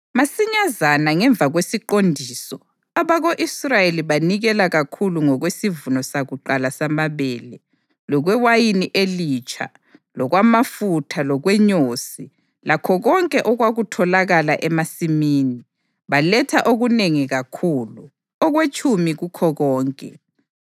Masinyazana ngemva kwesiqondiso, abako-Israyeli banikela kakhulu ngokwesivuno sakuqala samabele, lokwewayini elitsha, lokwamafutha lokwenyosi lakho konke okwakutholakala emasimini. Baletha okunengi kakhulu, okwetshumi kukho konke.